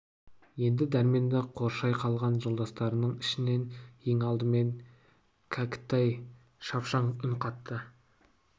енді дәрменді қоршай қалған жолдастарының ішінен ең алдымен кәкітай шапшаң үн қатты